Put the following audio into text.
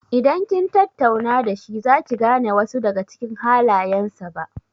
Idan kin tattauna da shi za ki gane wasu daga cikin halayen sa ba.